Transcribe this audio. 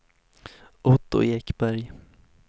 Otto Ekberg